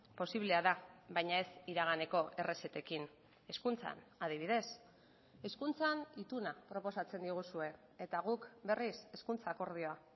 posiblea da baina ez iraganeko errezetekin hezkuntzan adibidez hezkuntzan ituna proposatzen diguzue eta guk berriz hezkuntza akordioa